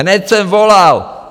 Hned jsem volal!